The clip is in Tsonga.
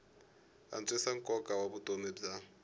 antswisa nkoka wa vutomi bya